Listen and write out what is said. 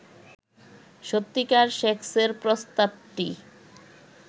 সত্যিকার সেক্সের প্রস্তাবটি